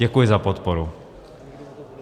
Děkuji za podporu.